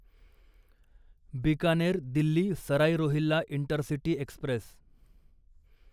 Bikaner Delhi Sarai Rohilla intercity Express